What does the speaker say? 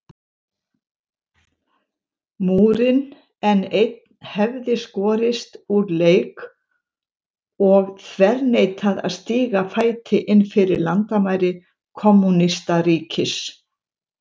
Múrinn, en einn hefði skorist úr leik og þverneitað að stíga fæti innfyrir landamæri kommúnistaríkis.